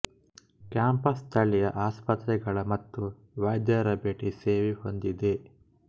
campus ಸ್ಥಳೀಯ ಆಸ್ಪತ್ರೆಗಳ ಮತ್ತು ವೈದ್ಯರ ಭೇಟಿ ಸೇವೆ ಹೊಂದಿದೆ